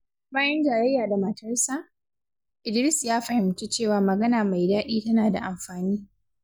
Bayan jayayya da matarsa, Idris ya fahimci cewa magana mai daɗi tana da amfani.